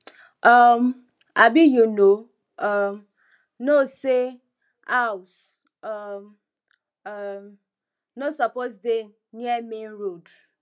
um abi you no um know say house um um no suppose dey near main road